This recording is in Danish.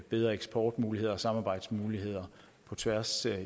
bedre eksportmuligheder og samarbejdsmuligheder på tværs